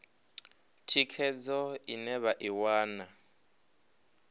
thikhedzo ine vha i wana